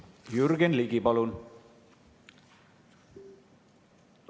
Jürgen Ligi, palun!